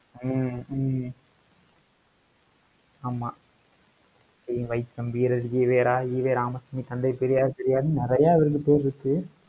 ஹம் ஹம் ஆமா ஹம் வைக்கம் வீரர், ஈவேரா, ஈவே ராமசாமி, தந்தை பெரியார், பெரியார்னு நெறைய அவருக்கு பேர் இருக்கு